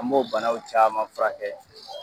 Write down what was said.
An b'o banaw caman furakɛ